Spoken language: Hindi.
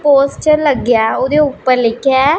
पोस्टर लग गया ओदी ऊपर लिखिये--